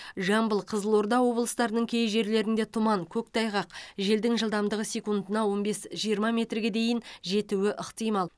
жамбыл қызылорда облыстарының кей жерлерінде тұман көктайғақ желдің жылдамдығы секундына он бес жиырма метрге дейін жетуі ықтимал